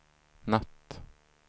natt